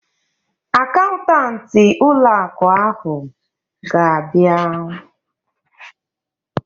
Akaụntanti ụlọ akụ ahụ ga-abịa